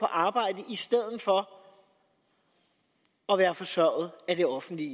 arbejde i stedet for at være forsørget af det offentlige